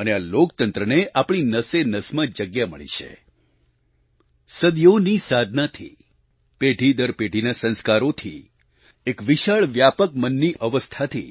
અને આ લોકતંત્રને આપણી નસેનસમાં જગ્યા મળી છે સદીઓની સાધનાથી પેઢી દર પેઢીના સંસ્કારોથી એક વિશાળ વ્યાપક મનની અવસ્થાથી